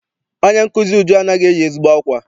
Onye nkụzi Uju anaghị eyi ezigbo akwa.